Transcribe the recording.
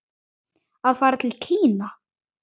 Að fara til Kína?